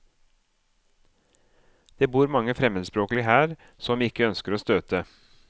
Det bor mange fremmedspråklige her, som vi ikke ønsker å støte.